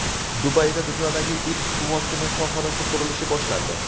Dubayda dunyodagi ilk suvosti mehmonxonasi qurilishi boshlandi.